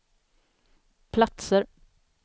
platser